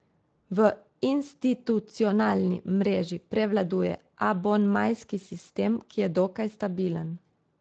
V institucionalni mreži prevladuje abonmajski sistem, ki je dokaj stabilen.